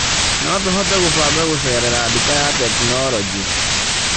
No tũhote gũbanga gũcerera nduka ya tekinoronjĩ.